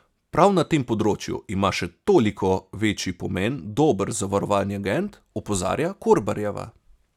Prav na tem področju ima še toliko večji pomen dober zavarovalni agent, opozarja Korbarjeva.